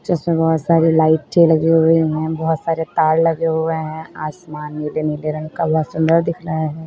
जिसमें बहोत सारी लाइटें लगी हुई हैं। बहोत सारे तार लगे हुए हैं। आसमान नीले नीले नीले रंग का बहोत सुंदर दिख रहा है।